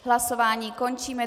Hlasování končím.